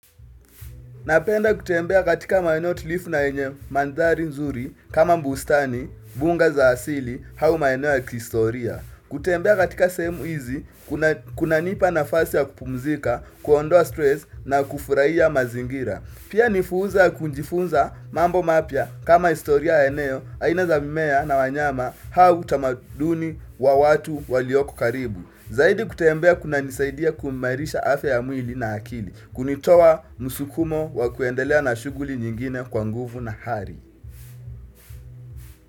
Napenda kutembea katika maeneo tulivu na yenye mandhari nzuri kama bustani, mbunga za asili, au maeneo ya kihistoria. Kutembea katika sehemu hizi, kunanipa nafasi ya kupumzika, kuondoa stress na kufurahia mazingira. Pia ni fursa ya kujifunza mambo mapya kama historia ya eneo, aina za mimea na wanyama au utamaduni wa watu walioko karibu. Zaidi kutembea kunanisaidia kuimarisha afya ya mwili na akili. Kunitoa msukumo wa kuendelea na shughuli nyingine kwa nguvu na ari.